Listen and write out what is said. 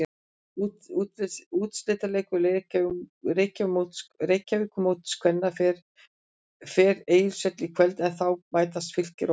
Úrslitaleikur Reykjavíkurmóts kvenna fer Egilshöll í kvöld en þá mætast Fylkir og Valur.